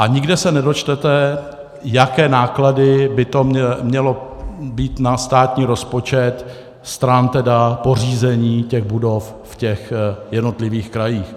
A nikde se nedočtete, jaké náklady by to měly být na státní rozpočet stran tedy pořízení těch budov v těch jednotlivých krajích.